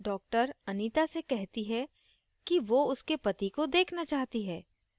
doctor anita से कहती है कि वो उसके पति को देखना चाहती है